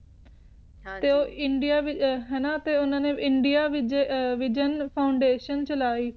ਹਨ ਜੀ ਤੇ ਉਹ ਇੰਡੀਆ ਦੇ ਨਾ ਇੰਡੀਆ ਰੇਗੀਓ foundation ਚਲਾਇ